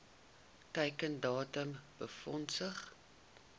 teiken datum befondsing